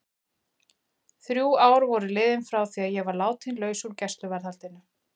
Þrjú ár voru liðin frá því að ég var látin laus úr gæsluvarðhaldinu.